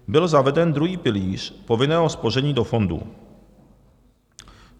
Byl zaveden druhý pilíř povinného spoření do fondů.